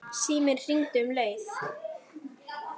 Síminn hringdi um leið.